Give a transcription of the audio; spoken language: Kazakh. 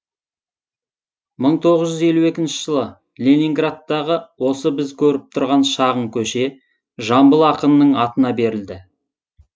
мың тоғыз жүз елу екінші жылы ленинградтағы осы біз көріп тұрған шағын көше жамбыл ақынның атына берілді